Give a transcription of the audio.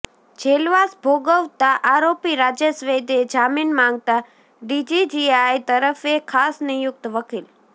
જેલવાસ ભોગવતા આરોપી રાજેશ વૈદે જામીન માંગતા ડીજીજીઆઈ તરફે ખાસ નિયુક્ત વકીલ